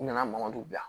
U nana mangoro dun yan